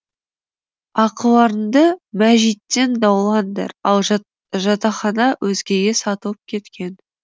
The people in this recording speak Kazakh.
ақыларыңды мәжиттен даулаңдар ал жатақхана өзгеге сатылып кеткен